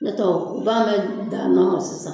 Ne taw u b'a bɛɛ da da ɲɔgɔn kan sisan